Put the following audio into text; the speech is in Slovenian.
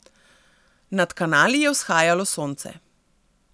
Nad kanali je vzhajalo sonce.